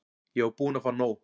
Ég var búin að fá nóg.